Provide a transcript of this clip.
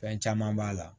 Fɛn caman b'a la